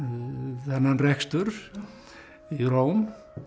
þennan rekstur í Róm